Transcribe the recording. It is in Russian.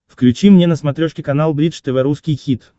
включи мне на смотрешке канал бридж тв русский хит